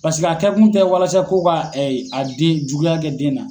Pasiki a kɛkun tɛ walasa ko ka a den juguya kɛ den na.